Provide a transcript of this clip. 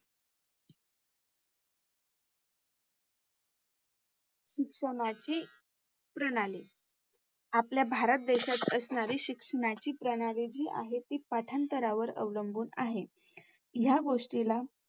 शिक्षणाची प्रणाली आपल्या भारत देशात असणारी शिक्षणाची प्रणाली जी आहे ती पाठांतरावर अवलंबून आहे. या गोष्टीला